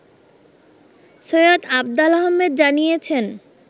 সৈয়দ আফদাল আহমেদ জানিয়েছেন